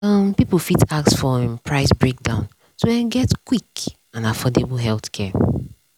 um people fit ask for um price breakdown to um get quick and affordable healthcare.